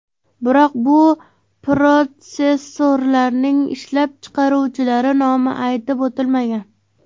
Biroq bu protsessorlarning ishlab chiqaruvchilari nomi aytib o‘tilmagan.